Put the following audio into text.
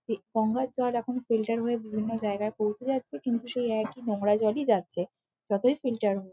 এই গঙ্গার জল এখন ফিল্টার হয়ে বিভিন্ন জায়গায় পৌঁছে যাচ্ছে কিন্তু সেই একই নোংরা জলই যাচ্ছে যতই ফিল্টার হোক।